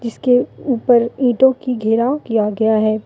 उसके ऊपर ईंटों की घेराव किया गया है।